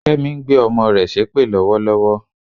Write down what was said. Kẹ́mi ń gbé ọmọ rẹ̀ ṣépè lọ́wọ́lọ́wọ́